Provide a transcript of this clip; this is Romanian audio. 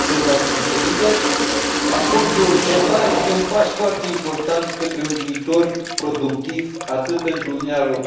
Acordul CETA este un pas foarte important către un viitor productiv atât pentru Uniunea Europeană, cât și pentru Canada.